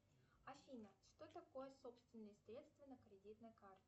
афина что такое собственные средства на кредитной карте